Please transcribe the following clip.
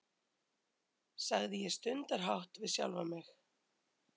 sagði ég stundarhátt við sjálfa mig.